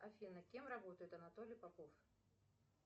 афина кем работает анатолий попов